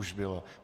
Už bylo.